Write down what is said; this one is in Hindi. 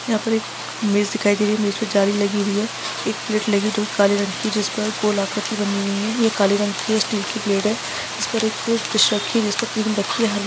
यहा पर एक इमेज दिखाई दे रही है इमेज मे जाली लगी हुई है एक प्लेट लगी जो काले रंग की जिस पर गोलाकृति बनी हुई है ये काले रंग की है स्टील की प्लेट है इसपर एक --